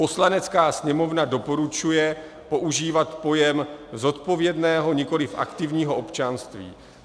Poslanecká sněmovna doporučuje používat pojem zodpovědného, nikoliv aktivního občanství.